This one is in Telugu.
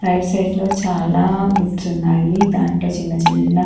రైట్ సైడ్ లో చాలా గిఫ్ట్స్ ఉన్నాయి దాంట్లో చిన్న చిన్న--